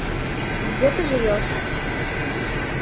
где ты живёшь